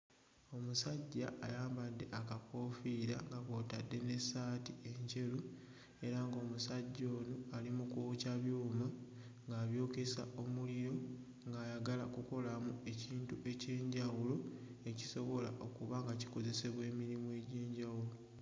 Omusajja ayambadde akakoofiira nga kw'otadde n'essaati enjeru era ng'omusajja ono ali mu kwokya byuma ng'abyokesa omuliro, ng'ayagala kukolamu ekintu eky'enjawulo ekisobola okuba nga kikozesebwa emirimu egy'enjawulo.